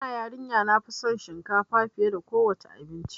Ina yarin ya nafi son shinkafa fiye da kowa ce abinci